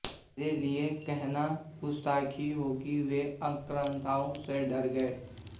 मेरे लिए यह कहना गुस्ताखी होगी वे आक्रांताओं से डर गए